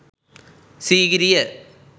sigiriya